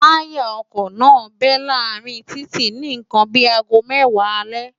táyà ọkọ̀ náà bẹ́ láàárín títì ni nǹkan bí i aago mẹ́wàá alẹ́